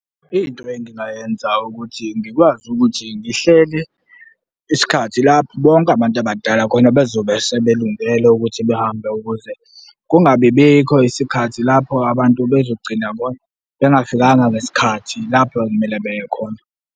Into engingayenza ukuthi ngikwazi ukuthi ngihlele isikhathi lapho bonke abantu abadala khona bezobe sebelungele ukuthi behambe ukuze kungabi bikho isikhathi lapho abantu bezogcina bengafikanga ngesikhathi lapho ekumele beye khona.